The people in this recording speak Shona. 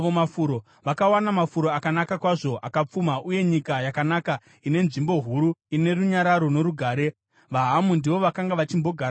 Vakawana mafuro akanaka kwazvo akapfuma, uye nyika yakanaka ine nzvimbo huru ine runyararo norugare. VaHamu ndivo vakanga vachimbogaramo kare.